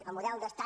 el model d’estat